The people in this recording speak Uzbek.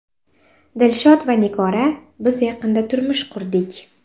Dilshod va Nigora Biz yaqinda turmush qurdik.